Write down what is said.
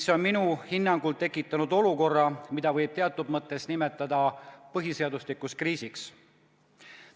See on minu hinnangul tekitanud olukorra, mida võib teatud mõttes nimetada põhiseaduslikuks kriisiks.